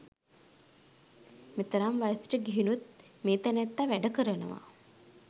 මෙතරම් වයසට ගිහිනුත් මේ තැනැත්තා වැඩ කරනවා.